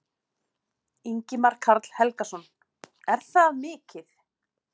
Ingimar Karl Helgason: Er það mikið?